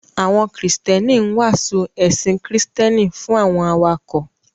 Àwọn Kristẹni ń wàásù ẹ̀sìn Kristẹni fún àwọn awakọ̀